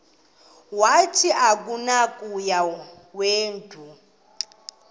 wathi akunakuya wedw